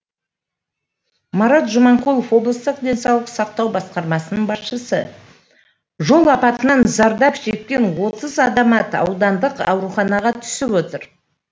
марат жұманқұлов облыстық денсаулық сақтау басқармасының басшысы жол апатынан зардап шеккен отыз азамат аудандық ауруханаға түсіп отыр